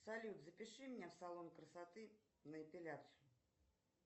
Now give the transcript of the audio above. салют запиши меня в салон красоты на эпиляцию